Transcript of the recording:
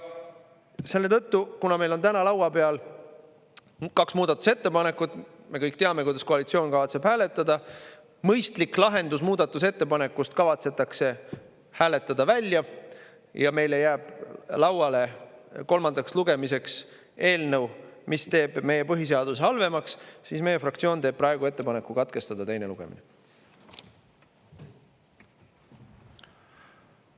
Selle tõttu, kuna meil on täna laua peal kaks muudatusettepanekut ja me kõik teame, kuidas koalitsioon kavatseb hääletada, mõistlik lahendus muudatusettepanekust kavatsetakse hääletada välja, ja meile jääb kolmandaks lugemiseks lauale eelnõu, mis teeb meie põhiseaduse halvemaks, teeb meie fraktsioon praegu ettepaneku teine lugemine katkestada.